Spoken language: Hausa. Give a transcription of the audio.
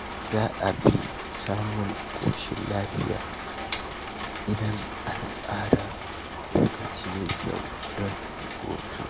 Za a fi samun ƙoshin lafiya idan an tsara lokaci mai kyau don hutu.